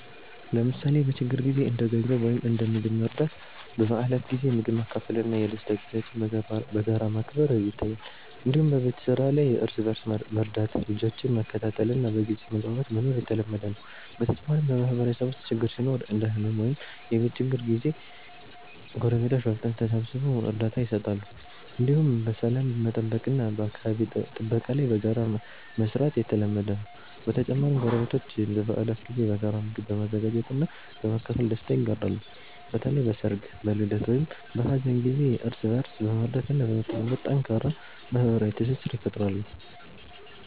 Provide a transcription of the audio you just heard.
ለምሳሌ በችግር ጊዜ እንደ ገንዘብ ወይም እንደ ምግብ መርዳት፣ በበዓላት ጊዜ ምግብ ማካፈል እና የደስታ ጊዜዎችን በጋራ ማክበር ይታያል። እንዲሁም በቤት ስራ ላይ እርስ በእርስ መርዳት፣ ልጆችን መከታተል እና በግልጽ መግባባት መኖር የተለመደ ነው። በተጨማሪም በማህበረሰብ ውስጥ ችግር ሲኖር እንደ ሕመም ወይም የቤት ችግር ጊዜ ጎረቤቶች በፍጥነት ተሰብስበው እርዳታ ይሰጣሉ። እንዲሁም በሰላም መጠበቅ እና በአካባቢ ጥበቃ ላይ በጋራ መስራት የተለመደ ነው። በተጨማሪም ጎረቤቶች በበዓላት ጊዜ በጋራ ምግብ በመዘጋጀት እና በማካፈል ደስታ ይጋራሉ። በተለይ በሰርግ፣ በልደት ወይም በሀዘን ጊዜ እርስ በእርስ በመርዳት እና በመተባበር ጠንካራ ማህበራዊ ትስስር ይፈጥራሉ።